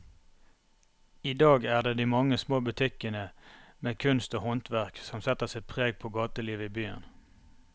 I dag er det de mange små butikkene med kunst og håndverk som setter sitt preg på gatelivet i byen.